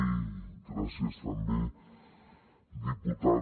i gràcies també diputada